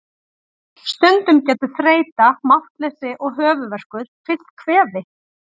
Stundum getur þreyta, máttleysi og höfuðverkur fylgt kvefi.